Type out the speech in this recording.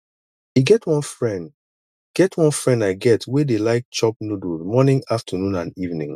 e get one friend get one friend i get wey dey like chop noodles morning afternoon and evening